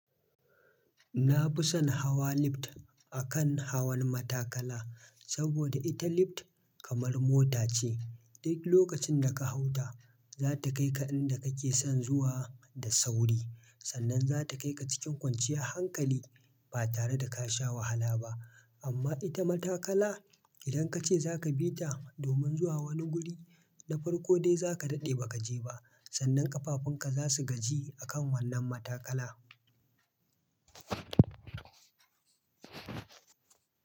Na fi son hawa lift akan hawan matakala, saboda ita lift kamar mota ce. Duk lokacin da ka hau ta, za ta kai ka inda kake son zuwa da sauri. Sannan za ta kai ka cikin kwanciyar hankali ba tare da ka sha wahala ba. Amma ita matakala, idan ka ce za ka bi ta domin zuwa wani guri na farko dai za ka daɗe ba ka je ba. Sannan ƙafafunka za su gaji a kan wannan matakala.